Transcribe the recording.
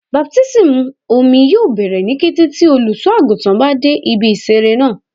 Baptismu omi yoo bẹrẹ ni kete ti oluso-aguntan ba de ibi isere naa